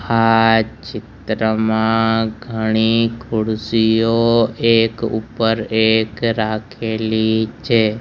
આ ચિત્રમાં ઘણી ખુરસીઓ એક ઉપર એક રાખેલી છે.